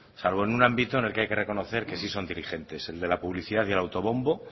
salvo en un ámbito en el que hay que reconocer que son sin diligentes el de la publicidad y el autobombo